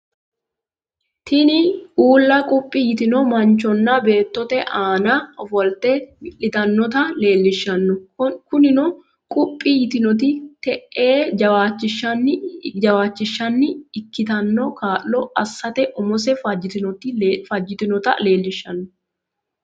Tiniuula quphi yitino manchonna baatotte aana offolite wilitanotta leelishano kunino quphi yitinotti te'ee jawachishanni ikkitino kaalo asate umose fajitinotta leelishano